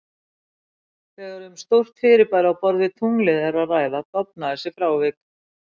Þegar um stór fyrirbæri á borð við tunglið er að ræða, dofna þessi frávik.